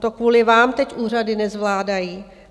To kvůli vám teď úřady nezvládají.